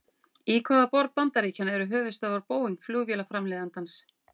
Í hvaða borg bandaríkjanna eru höfuðstöðvar Boeing flugvélaframleiðandans?